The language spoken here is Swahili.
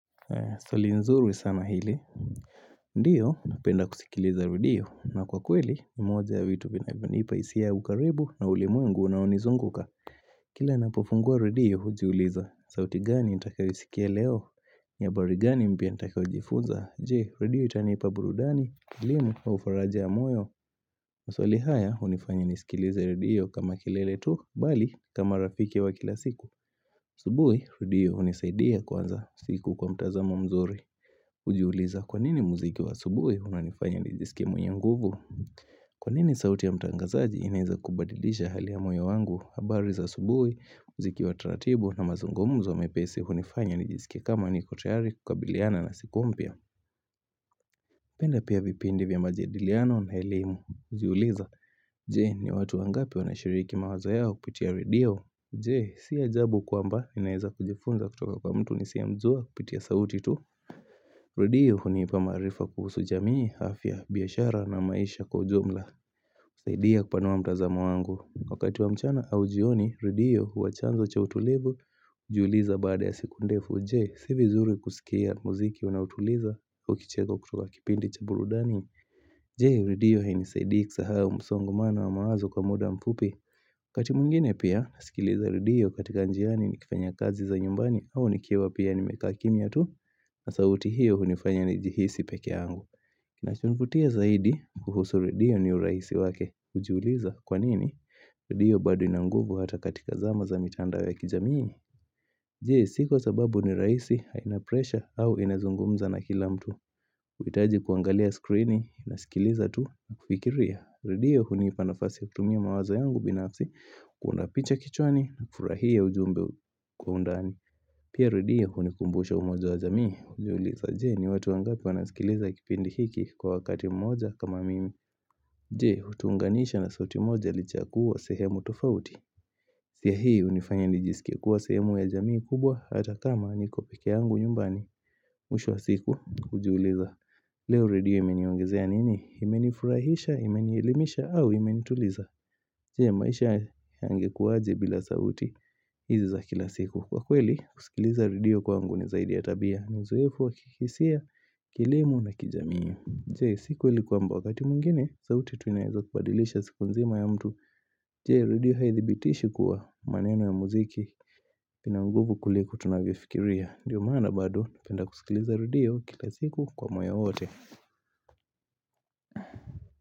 Swali nzuri sana hili. Ndiyo napenda kusikiliza redio na kwa kweli moja ya vitu vinavyonipa hisia ya ukaribu na ulimwengu unaonizunguka. Kila ninapofungua redio hujiuliza sauti gani nitakayo isikia leo? Ni habari gani mpya nitakayo jifunza je redio itanipa burudani, elimu au faraja ya moyo? Maswali haya hunifanya nisikilize redio kama kilele tu bali kama rafiki wa kila siku, asubuhi redio hunisaidia kwanza siku kwa mtazamo mzuri. Kujiuliza kwanini muziki wa asubuhi unanifanya nijisikie mwenye nguvu? Kwanini sauti ya mtangazaji inaweza kubadilisha hali ya moyo wangu habari za asubuhi, muziki wa taratibu na mazungumuzo mepesi hunifanya nijisike kama nikotayari kukabiliana na siku mpya penda pia vipindi vya majadiliano na elimu. Hujiuliza, je, ni watu wangapi wanashiriki mawazo yao kupitia redio? Je, siajabu kwamba ninaweza kujifunza kutoka kwa mtu nisiye mzua kupitia sauti tu? Redio hunipa maarifa kuhusu jamii, afya, biashara na maisha kwa ujumla. Saidia kupanua mtazamo wangu. Wakati wa mchana au jioni, redio huwa chanzo cha utulivu. Hujiuliza baada ya siku ndefu, je, sivizuri kusikia muziki unaotuliza ukicheka kutoka kipindi cha burudani. Je, redio hainisaidie kusahau msongamano wa mawazo kwa muda mfupi? Wakati mwngine pia, nasikiliza redio katika njiani ni kifanya kazi za nyumbani au nikiwa pia ni mekaa kimia tu. Na sauti hiyo hunifanya ni jihisi peke yangu. Kinacho nivutia zaidi kuhusu redio ni urahisi wake. Hujiuliza kwa nini redio bado inanguvu hata katika zama za mitandao ya kijaminii? Je, si kwa sababu ni rahisi haina presha au inazungumza na kila mtu? Huhitaji kuangalia skrini unaskiliza tu na kufikiria redio hunipa nafasi ya kutumia mawazo yangu binafsi kuunda picha kichwani na kufurahia ujumbe kwa undani. Pia redio hunikumbusha umoja wa jamii, kujiuliza je, ni watu wangapi wanazikiliza kipindi hiki kwa wakati mmoja kama mimi. Je, hutuunganisha na sauti moja lichakua sehemu tofauti? Pia hii hunifanya nijisikia kuwa sehemu ya jamii kubwa hata kama nikopeke yangu nyumbani. Mwisho wa siku, hujiuliza. Leo redio imeniongezea nini? Imenifurahisha, imenielimisha, au imenituliza? Je, maisha yangekuwaje bila sauti, hizi za kila siku. Kwa kweli, kusikiliza redio kwangu ni zaidi ya tabia na uzoefu wakihisia, kielimu na kijamii. Je, sikuweli kwamba wakati mwingine sauti tu inaweza kubadilisha siku nzima ya mtu. Je, redio haithibitishi kuwa maneno ya muziki ina nguvu kuliko tunavyo fikiria. Ndiyo maana bado, ninapenda kusikiliza redio kila siku kwa moyo wote.